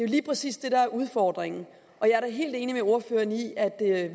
lige præcis det der er udfordringen jeg er da helt enig med ordføreren i at